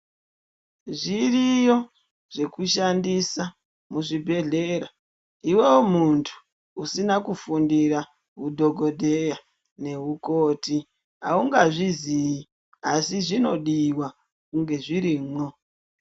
Zviriyo zvekushandisa muzvibhedhlera. Iwewe muntu usina kufundira hudhokodheya nehukoti haungazvizii asi zvinodiwa kunge zvirimwo.